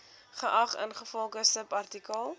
geag ingevolge subartikel